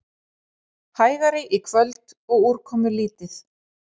Hægari í kvöld og úrkomulítið